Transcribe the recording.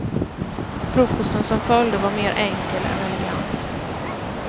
Frukosten som följde var mer enkel än elegant.